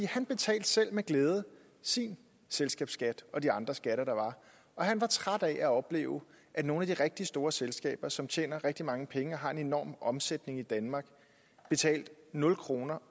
han betalte selv med glæde sin selskabsskat og de andre skatter der var og han var træt af at opleve at nogle af de rigtig store selskaber som tjener rigtig mange penge og som har en enorm omsætning i danmark betalte nul kroner